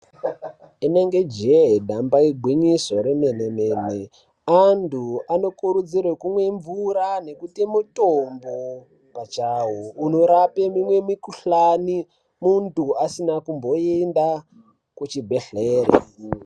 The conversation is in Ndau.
Inenge jee ,damba igwinyiso remene-mene. Antu anokurudzirwe kumwe mvura nekuti mutombo pachawo unorape mimwe mikhuhlani, muntu asina kumboenda kuchibhedhlere.